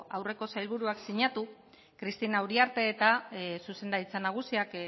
aurreko sailburuak sinatu cristina uriartek eta zuzendaritza nagusiak